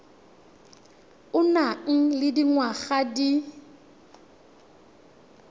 o nang le dingwaga di